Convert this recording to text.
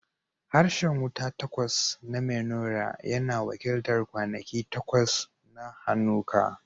Harshen wuta takwas na menorah yana wakiltar kwanaki takwas na Hanukkah.